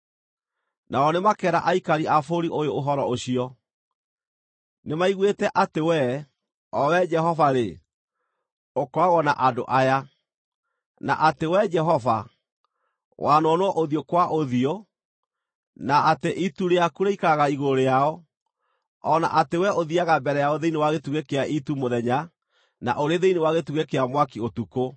Nao nĩmakeera aikari a bũrũri ũyũ ũhoro ũcio. Nĩmaiguĩte atĩ Wee, O Wee Jehova-rĩ, ũkoragwo na andũ aya, na atĩ Wee Jehova, wanonwo ũthiũ kwa ũthiũ, na atĩ itu rĩaku rĩikaraga igũrũ rĩao, o na atĩ Wee ũthiiaga mbere yao thĩinĩ wa gĩtugĩ kĩa itu mũthenya na ũrĩ thĩinĩ wa gĩtugĩ kĩa mwaki ũtukũ.